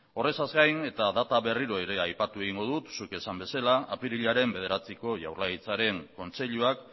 horretaz gain eta data berriro ere aipatu egingo dut zuk esan bezala apirilaren bederatziko jaurlaritzaren kontseiluak